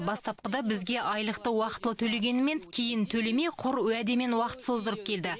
бастапқыда бізге айлықты уақытылы төлегенімен кейін төлемей құр уәдемен уақыт создырып келді